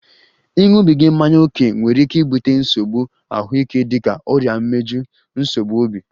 Ịṅụbiga mmanya ókè nwere ike ibute nsogbu ahụike dịka ọrịa imeju, nsogbu obi